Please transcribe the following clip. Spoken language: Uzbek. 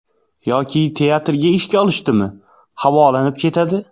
Yoki teatrga ishga olishdimi, havolanib ketadi.